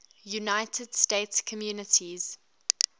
united states communities